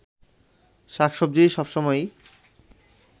শাক-সবজি সব সময়ই